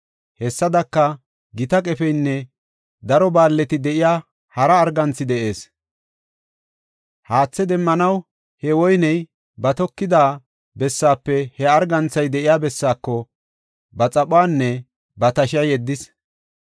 Hessadaka, gita qefeynne daro baalleti de7iya hara arganthi de7ees. Haathe demmanaw he woyney ba toketida bessafe he arganthay de7iya bessaako ba xaphuwanne ba tashiya yeddis.